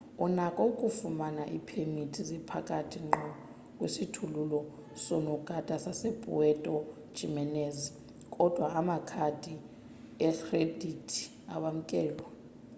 unako ukufumana iipemithi zepakhi ngqo kwisikhululo soonogada sasepuerto jiménez kodwa amakhadi ekhredithi awamkelwa